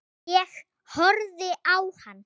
Ég horfði á hann.